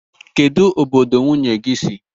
Kedụ obodo nwunye gị si?